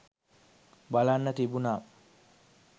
බලන්න තිබුනා